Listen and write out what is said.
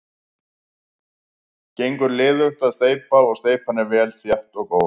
Ég fór í margar meðferðir en ég held að sú síðasta hafi verið sú síðasta.